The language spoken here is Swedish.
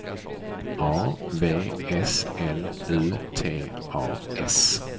A V S L U T A S